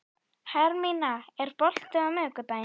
Hermína, er bolti á miðvikudaginn?